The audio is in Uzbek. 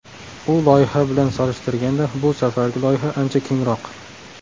U loyiha bilan solishtirganda bu safargi loyiha ancha kengroq.